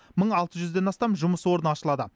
мың алты жүзден астам жұмыс орны ашылады